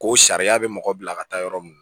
Ko sariya bɛ mɔgɔ bila ka taa yɔrɔ min